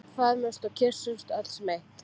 Föðmumst og kyssumst öll sem eitt.